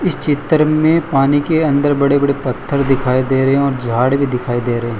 इस चित्र में पानी के अंदर बड़े बड़े पत्थर दिखाई दे रहे हैं और झाड़ भी दिखाई दे रहे हैं।